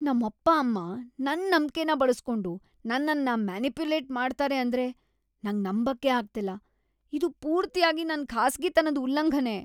ನಮ್ಮಪ್ಪ ಅಮ್ಮ ನನ್ ನಂಬ್ಕೆನ ಬಳಸ್ಕೊಂಡು ನನ್ನನ್ನ ಮ್ಯನಿಪುಲೇಟ್‌ ಮಾಡ್ತಾರೆ ಅಂದ್ರೆ ನಂಗ್‌ ನಂಬಕ್ಕೇ ಅಗ್ತಿಲ್ಲ. ಇದು ಪೂರ್ತಿಯಾಗಿ ನನ್ ಖಾಸಗಿತನದ್ ಉಲ್ಲಂಘನೆ.